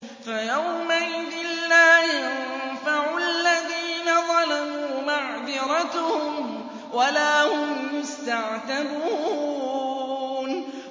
فَيَوْمَئِذٍ لَّا يَنفَعُ الَّذِينَ ظَلَمُوا مَعْذِرَتُهُمْ وَلَا هُمْ يُسْتَعْتَبُونَ